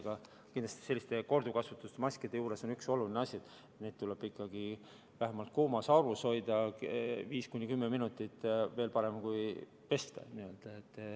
Aga kindlasti on korduvkasutusmaskide juures üks oluline asi: neid tuleb ikkagi vähemalt kuumas aurus hoida 5–10 minutit, veel parem oleks pesta.